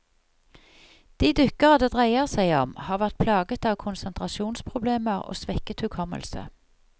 De dykkere det dreier seg om, har vært plaget av konsentrasjonsproblemer og svekket hukommelse.